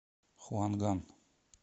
хуанган